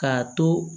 K'a to